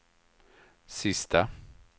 sista